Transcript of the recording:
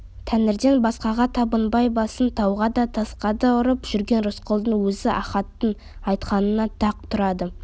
тәңіріден басқаға табынбай басын тауға да тасқа да ұрып жүрген рысқұлдың өзі ахаттың айтқанына тақ тұрады